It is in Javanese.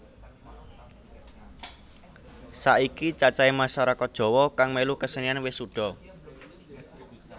Saiki cacahé masarakat Jawa kang mèlu kesenian wis suda